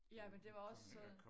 Ja men det var også